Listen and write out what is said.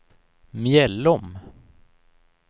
Mjällom